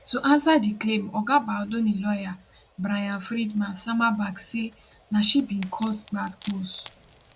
to ansa di claim oga baldoni lawyer bryan freedman sama back say na she bin cause gbasgbos